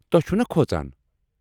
توہہِ چھِو نا کھۄژان؟